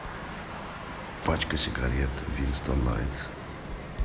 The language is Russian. пачка сигарет винстон лайтс